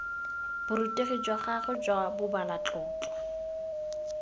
borutegi jwa gagwe jwa bobalatlotlo